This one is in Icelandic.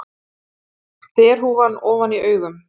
Derhúfan ofan í augum.